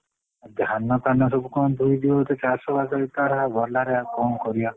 ଧାନ ଫାନ ସବୁ କଣ ଧୋଇଯିବି ବୋଧେ ଚାଷ ବାସ ହେଇଥିଲା ଗଲା ରେ କଣ କରିବା।